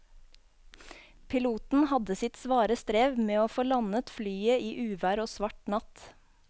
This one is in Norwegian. Piloten hadde sitt svare strev med å få landet flyet i uvær og svart natt.